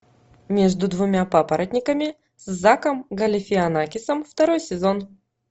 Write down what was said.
между двумя папоротниками с заком галифианакисом второй сезон